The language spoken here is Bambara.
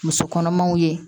Muso kɔnɔmaw ye